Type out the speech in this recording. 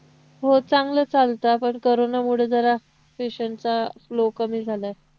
हो चांगलं चालतं पण कोरोनामुळे जरा patient चा flow कमी झालाय